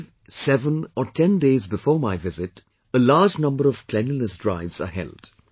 Five, seven or ten days before my visit a large number of cleanliness drives are held